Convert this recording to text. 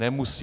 Nemusí!